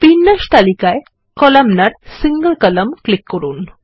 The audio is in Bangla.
বিন্যাস তালিকায়Columnar single কলাম্ন ক্লিক করুন